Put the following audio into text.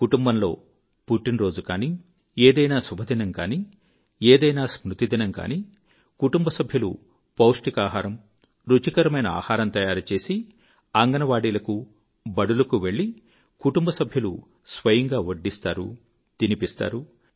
కుటుంబంలో పుట్టినరోజు గానీ ఏదైనా శుభదినం కానీ ఏదైనా స్మృతిదినం కానీ కుటుంబ సభ్యులు పౌష్టికాహారం రుచికరమైన ఆహారం తయారుచేసి అంగన్ వాడీలకు బడులకు వెళ్ళి కుటుంబ సభ్యులు స్వయంగా వడ్డిస్తారు తినిపిస్తారు